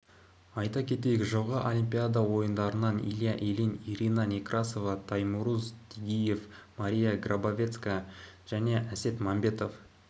айта кетейік жылғы олимпиада ойындарынан илья ильин ирина некрасова таймураз тигиев мария грабовецкая және әсет мәмбетов